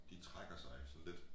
De trækker sig sådan lidt